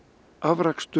afrakstur